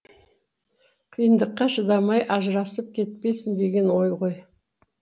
қиындыққа шыдамай ажырасып кетпесін деген ой ғой